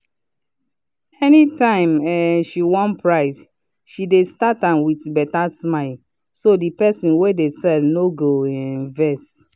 anytime um she wan price she dey start am with better smile so the person wey de sell no go um vex.